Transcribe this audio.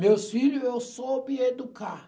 Meus filho eu soube educar.